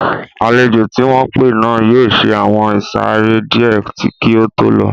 Àlejò tí wọ́n pé náà yóò ṣe àwọn ìsàrẹ́ díẹ̀ kí ó tó lọ